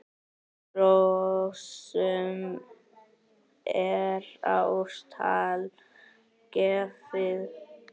Hrossum er á stall gefið.